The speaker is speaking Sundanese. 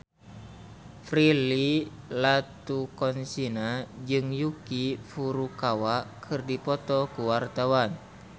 Prilly Latuconsina jeung Yuki Furukawa keur dipoto ku wartawan